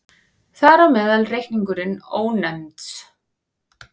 Þar á meðal reikningurinn Ónefnds.